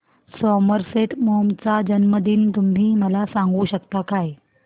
Somerset Maugham चा जन्मदिन तुम्ही मला सांगू शकता काय